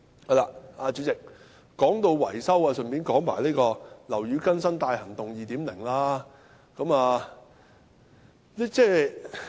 代理主席，說到維修，我順道談談"樓宇更新大行動 2.0"。